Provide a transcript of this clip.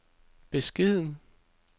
beskeden